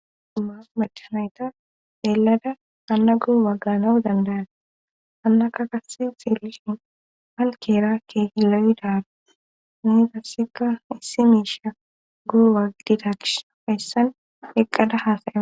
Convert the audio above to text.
Uma bachanayta deelada anna gu wagganau dandayane hannaka kasi xielishin hankeera kegi lowidaru nitasseka issi miisha guuwaagidida gish feessan eqqada haasayea.